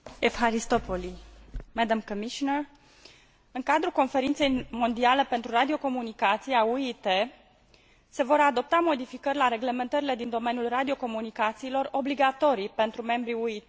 În cadrul Conferinței mondiale pentru radiocomunicații a UIT se vor adopta modificări la reglementările din domeniul radiocomunicațiilor, obligatorii pentru membrii UIT, inclusiv pentru toate statele membre ale Uniunii Europene.